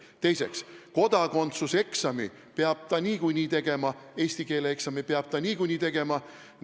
Teiseks, kodakondsuseksami peab ta niikuinii tegema, eesti keele eksami peab ta niikuinii tegema.